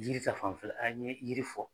Yiri ta fanfɛ la, an ye yiri fɔ